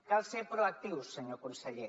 cal ser proactius senyor conseller